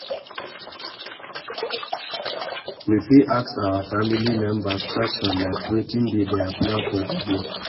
We fit ask our family members question like wetin be their plan for di day